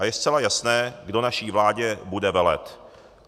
A je zcela jasné, kdo naší vládě bude velet.